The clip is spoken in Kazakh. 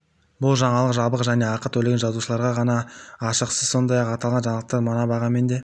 бұл жаңалық жабық және ақы төлеген жазылушыларға ғана ашық сіз сондай-ақ аталған жаңалықты мына бағамен де